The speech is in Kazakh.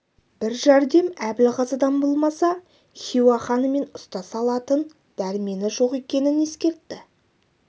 бір жәрдем әбілғазыдан болмаса хиуа ханымен ұстаса алатын дәрмені жоқ екенін ескертті